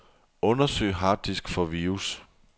Undersøg harddisk for virus.